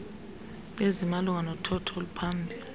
ezimalunga nothotho oluphambili